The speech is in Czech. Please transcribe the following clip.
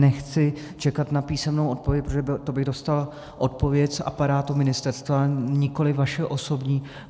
Nechci čekat na písemnou odpověď, protože to bych dostal odpověď z aparátu ministerstva, nikoliv vaši osobní.